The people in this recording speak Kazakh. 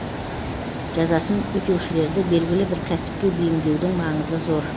жазасын өтеушілерді белгілі бір кәсіпке бейімдеудің маңызы зор